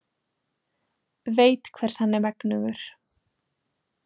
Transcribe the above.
Veit hvers hann er megnugur.